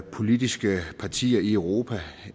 politiske partier i europa